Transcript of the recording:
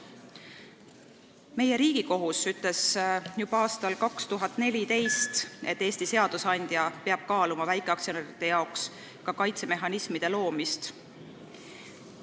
Meie Riigikohus ütles juba aastal 2014, et Eesti seadusandja peab kaaluma kaitsemehhanismide loomist ka väikeaktsionäride jaoks.